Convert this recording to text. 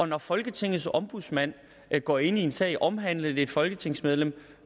når folketingets ombudsmand går ind i en sag omhandlende et folketingsmedlem og